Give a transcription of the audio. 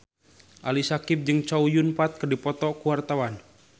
Ali Syakieb jeung Chow Yun Fat keur dipoto ku wartawan